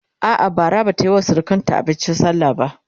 a'a Bara Bata Yi wa surukanta abincin sallah ba